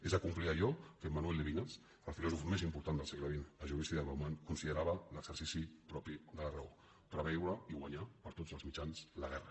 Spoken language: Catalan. és acomplir allò que emmanuel lévinas el filòsof més important del segle xx a judici de bauman conside·rava l’exercici propi de la raó preveure i guanyar per tots els mitjans la guerra